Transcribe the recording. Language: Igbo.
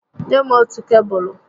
Nye m otù kebụlụ